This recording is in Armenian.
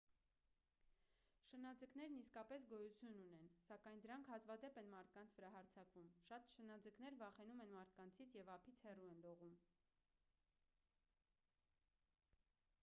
շնաձկներն իսկապես գոյություն ունեն սակայն դրանք հազվադեպ են մարդկանց վրա հարձակվում շատ շնաձկներ վախենում են մարդկանցից և ափից հեռու են լողում